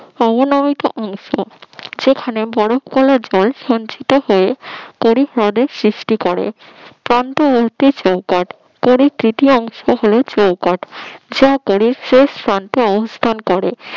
সেখানে বরফ গলা জল সঞ্চিত হয়ে বরিক হদর সৃষ্টি করে। কান্ত ও সংকট পরিকৃতি অংশ হলো চৌকট যা তড়িৎ শেষ অবস্থান করে